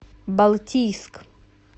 балтийск